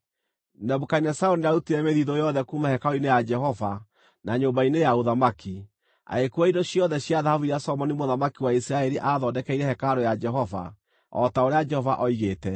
Nebukadinezaru nĩarutire mĩthiithũ yothe kuuma hekarũ-inĩ ya Jehova na nyũmba-inĩ ya ũthamaki, agĩkuua indo ciothe cia thahabu iria Solomoni mũthamaki wa Isiraeli aathondekeire hekarũ ya Jehova, o ta ũrĩa Jehova oigĩte.